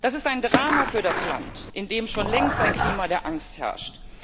Das ist ein Drama für das Land, in dem schon längst ein Klima der Angst herrscht.